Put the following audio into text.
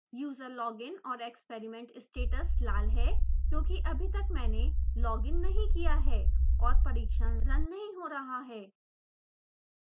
user login और experiment status लाल हैं क्योंकि अभी तक मैंने लॉग इन नहीं किया है और परिक्षण रन नहीं हो रहा है